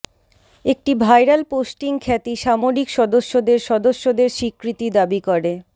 একটি viral posting খ্যাতি সামরিক সদস্যদের সদস্যদের স্বীকৃতি দাবি করে